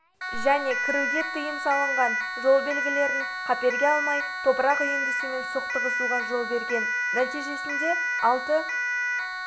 және кіруге тыйым салынған жол белгілерін қаперге алмай топырақ үйіндісімен соқтығысуға жол берген нәтижесінде алты